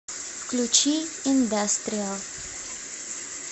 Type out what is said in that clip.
включи индастриал